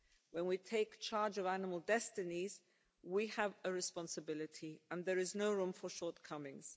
When we take charge of animal destinies, we have a responsibility, and there is no room for shortcomings.